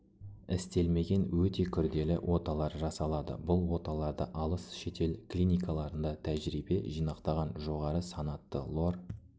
істелмеген өте күрделі оталар жасалады бұл оталарды алыс шетел клиникаларында тәжірибе жинақтаған жоғары санатты лор